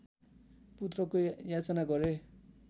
पुत्रको याचना गरे